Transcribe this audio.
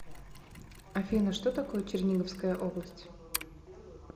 афина что такое черниговская область